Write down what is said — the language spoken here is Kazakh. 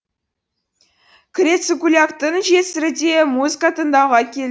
крецукуляктың жесірі де музыка тыңдауға кел